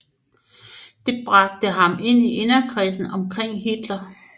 Det bragte ham ind i inderkredsen omkring Hitler